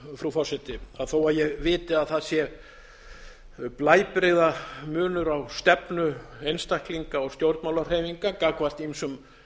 frú forseti þó ég viti að það sé blæbrigðamunur á stefnu einstaklinga og stjórnmálahreyfinga gagnvart ýmsum